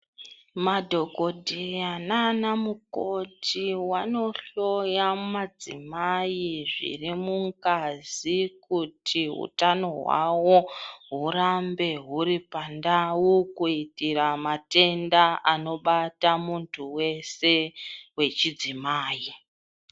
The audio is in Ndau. Madhogodhetya naana mukoti wanohloya madzimai zvirimungazi kuti hutano hwawo hurambe huri pandau kuitira matenda anobata muntu wese wechidzimai.